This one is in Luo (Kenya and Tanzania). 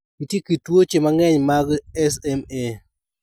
Nitie kit tuoche mang'eny mag SMA.